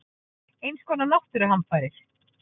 Eins konar náttúruhamfarir.